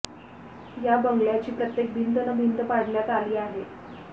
या बंगल्याची प्रत्येक भिंत न् भिंत पाडण्यात आली आहे